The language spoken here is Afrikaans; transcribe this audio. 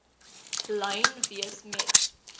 lyn wees met